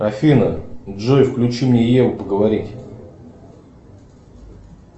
афина джой включи мне еву поговорить